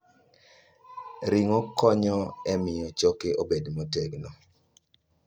Ring'o konyo e miyo choke obed motegno.